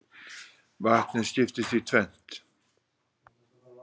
Vatnið skiptist í tvennt.